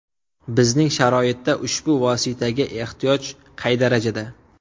Bizning sharoitda ushbu vositaga ehtiyoj qay darajada?